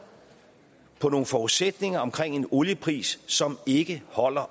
på nogle forudsætninger omkring en oliepris som ikke holder